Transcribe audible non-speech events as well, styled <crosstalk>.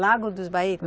Lago dos <unintelligible>